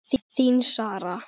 Þín Sara.